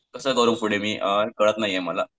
कसं करू पुढे मी कळत नाहीये मला.